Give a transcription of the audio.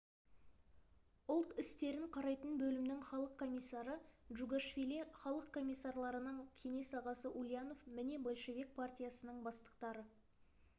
ұлт істерін қарайтын бөлімнің халық комиссары джугашвили халық комиссарларының кеңес ағасы ульянов міне большевик партиясының бастықтары